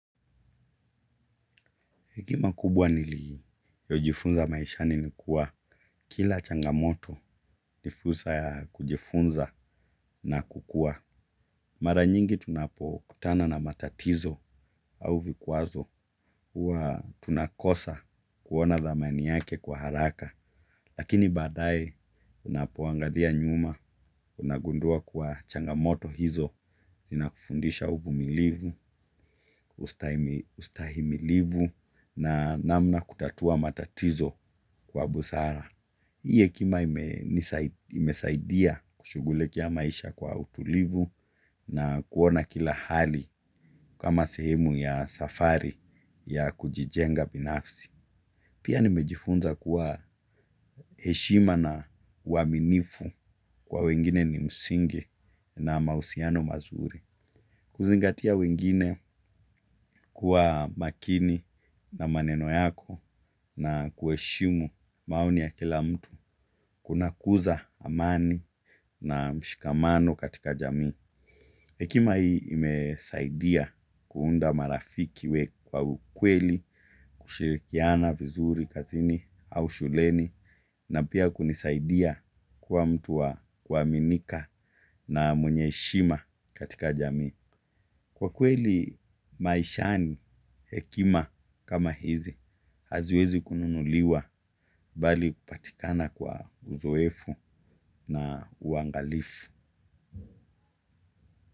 Hiki makubwa niliyojifunza maishani ni kuwa kila changamoto ni fursa ya kujifunza na kukua. Mara nyingi tunapokutana na matatizo au vikwazo huwa tunakosa kuona dhamani yake kwa haraka. Lakini baadaye unapuangalia nyuma, unagundua kwa changamoto hizo, zinakufundisha uvumilivu, ustahimilivu, na namna kutatua matatizo kwa busara. Hii hekima imesaidia kushughulikia maisha kwa utulivu na kuona kila hali kama sehemu ya safari ya kujijenga binafsi. Pia nimejifunza kuwa heshima na uaminifu kwa wengine ni msingi na mahusiano mazuri. Kuzingatia wengine kuwa makini na maneno yako na kuheshimu maoni ya kila mtu. Kunakuza amani na mshikamano katika jamii hekima hii imesaidia kuunda marafiki we kwa ukweli, kushirikiana vizuri kazini au shuleni. Na pia kunisaidia kuwa mtu wa kuaminika na mwenye heshima katika jamii. Kwa kweli maishani hekima kama hizi, haziwezi kununuliwa bali kupatikana kwa uzoefu na uangalifu.